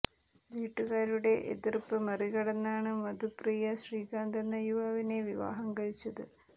വീട്ടുകാരുടെ എതിർപ്പ് മറികടന്നാണ് മധുപ്രിയ ശ്രീകാന്ത് എന്ന യുവാവിനെ വിവാഹം കഴിച്ചത്